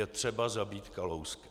Je třeba zabít Kalouska.